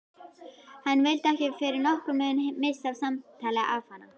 Hann vildi ekki fyrir nokkurn mun missa af samtali afanna.